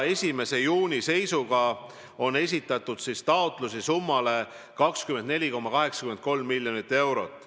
1. juuni seisuga on esitatud taotlusi summale 24,83 miljonit eurot.